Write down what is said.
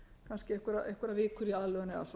kannski einhverjar vikur í aðlögun eða svo